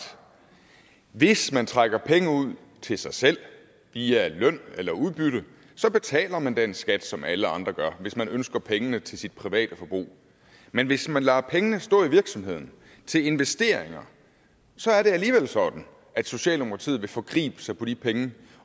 hvis man trækker penge ud til sig selv via løn eller udbytte så betaler man den skat som alle andre gør hvis man ønsker pengene til sit private forbrug men hvis man lader pengene stå i virksomheden til investeringer så er det alligevel sådan at socialdemokratiet vil forgribe sig på de penge